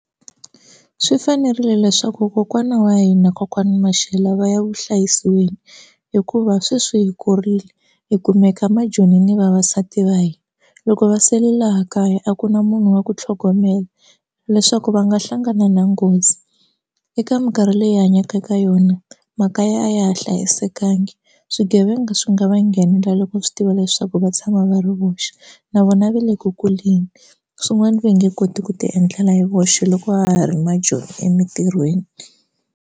Swi fanerile leswaku kokwana wa hina kokwani Mashele va ya evuhlayiselweni hikuva sweswi hi kurile hi kumeka maJoni ni vavasati va hina loko va sele laha kaya a ku na munhu wa ku tlhogomela leswaku va nga hlangana na nghozi eka mikarhi leyi hi hanyaka eka yona mhaka ya a ya ha hlayisekanga swigevenga swi nga va nghenela loko swi tiva leswaku va tshama va ri voxe na vona va le ku kuleni swin'wana va nge koti ku ti endlela hi voxe loko ha ha ri maJoni emitirhweni.